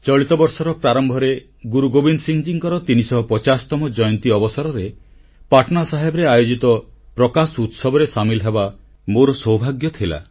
ଚଳିତ ବର୍ଷର ପ୍ରାରମ୍ଭରେ ଗୁରୁ ଗୋବିନ୍ଦସିଂଙ୍କର 350ତମ ଜୟନ୍ତୀ ଅବସରରେ ପାଟନାସାହେବରେ ଆୟୋଜିତ ପ୍ରକାଶ ଉତ୍ସବରେ ସାମିଲ ହେବା ମୋର ସୌଭାଗ୍ୟ ଥିଲା